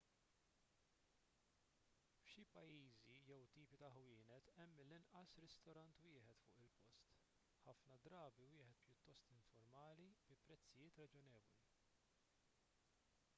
f'xi pajjiżi jew tipi ta' ħwienet hemm mill-inqas ristorant wieħed fuq il-post ħafna drabi wieħed pjuttost informali bi prezzijiet raġonevoli